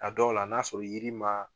A dɔw la n'a sɔrɔ yiri ma